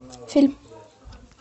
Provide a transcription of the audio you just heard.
фильм